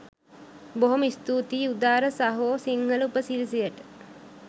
බොහොම ස්තූතියි උදාර සහෝ සිංහල උපසිරැසියට